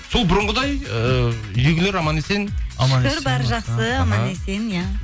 сол бұрынғыдай ы үйдегілер аман есен шүкір бәрі жақсы аман есен иә